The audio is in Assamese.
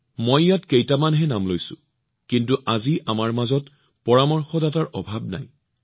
মই ইয়াত কেইটামানহে নাম লৈছো কিন্তু আজি আমাৰ মাজত পৰামৰ্শদাতাৰ কোনো অভাৱ নাই